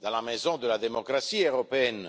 dans la maison de la démocratie européenne.